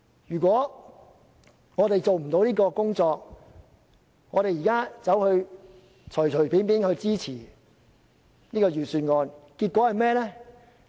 如果我們做不到這項工作，而隨便支持預算案，結果會是甚麼？